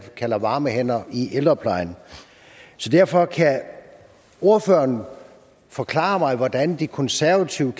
kalder varme hænder i ældreplejen så derfor kan ordføreren forklare mig hvordan de konservative